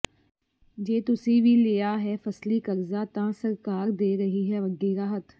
ਜੇ ਤੁਸੀ ਵੀ ਲਿਆ ਹੈ ਫ਼ਸਲੀ ਕਰਜ਼ਾ ਤਾਂ ਸਰਕਾਰ ਦੇ ਰਹੀ ਹੈ ਵੱਡੀ ਰਾਹਤ